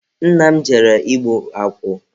Nna m jere igbu akwụ.